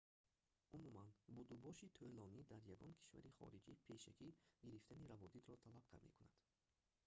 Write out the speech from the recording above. умуман будубоши тӯлонӣ дар ягон кишвари хориҷӣ пешакӣ гирифтани раводидро талаб карда мекунад